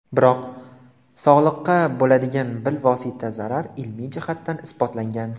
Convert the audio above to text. Biroq, sog‘liqqa bo‘ladigan bilvosita zarar ilmiy jihatdan isbotlangan.